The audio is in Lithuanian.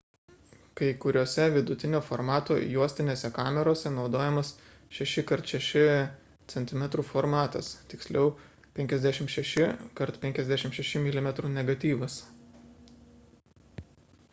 kai kuriose vidutinio formato juostinėse kamerose naudojamas 6 x 6 cm formatas tiksliau – 56 x 56 mm negatyvas